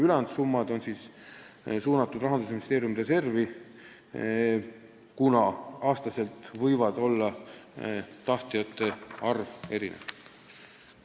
Ülejäänud summad on suunatud Rahandusministeeriumi reservi, kuna tahtjate arv võib aastati erineda.